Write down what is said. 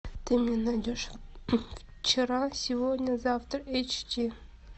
ты мне найдешь вчера сегодня завтра эйч ди